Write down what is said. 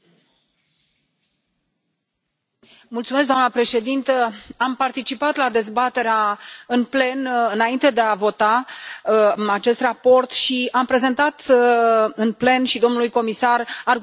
Am participat la dezbaterea în plen înainte de a vota acest raport și am prezentat în plen și domnului comisar argumentele pentru care susțin și votez acest raport.